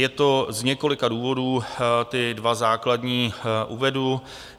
Je to z několika důvodů, ty dva základní uvedu.